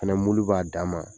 O fana mulu b'a dan ma